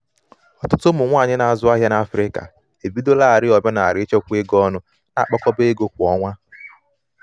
ọtụtụ ụmụ nwanyị na-azụ ahịa n'afrịka ebidolarii omenala ichekwa ego ọnụ na-akpakọba ego kwa ọnwa.